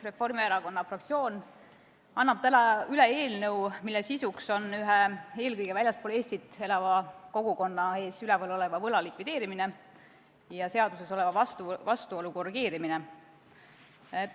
Reformierakonna fraktsioon annab täna üle eelnõu, mille eesmärk on ühe eelkõige väljaspool Eestit elava kogukonna ees oleva võla likvideerimine ja seaduses oleva vastuolu kõrvaldamine.